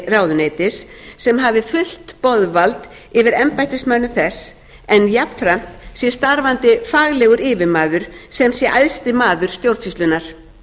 ráðuneytis sem hafi fullt boðvald yfir embættismönnum þess en jafnframt sé starfandi faglegur yfirmaður sem sé æðsti maður stjórnsýslunnar